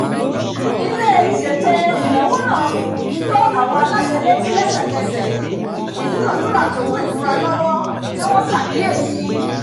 ilé-isé ètò ìnáwó náà fi to àwọn aláṣẹ létí lẹ́sẹ̀kẹsẹ̀ ìdúnadúrà to mú ìfura lọ́wọ́ tí wọ́n ṣàkíyèsí